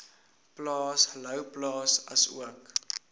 plaas louwplaas asook